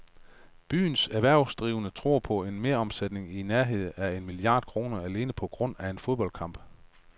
Byens erhvervsdrivende tror på en meromsætning i nærheden af en milliard kroner alene på grund af en fodboldkamp.